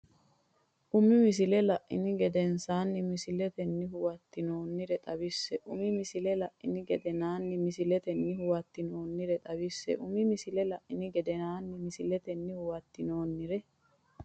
Umi misile la’ini gedensaanni misiletenni huwattinoonnire xawisse Umi misile la’ini gedensaanni misiletenni huwattinoonnire xawisse Umi misile la’ini gedensaanni misiletenni huwattinoonnire.